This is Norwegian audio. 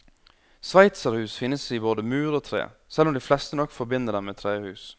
Sveitserhus finnes i både mur og tre, selv om de fleste nok forbinder dem med trehus.